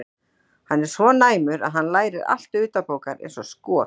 Hann er svo næmur að hann lærir allt utanbókar eins og skot.